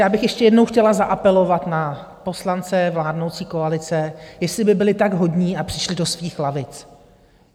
Já bych ještě jednou chtěla zaapelovat na poslance vládnoucí koalice, jestli by byli tak hodní a přišli do svých lavic.